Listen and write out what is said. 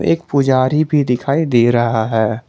एक पुजारी भी दिखाई दे रहा है।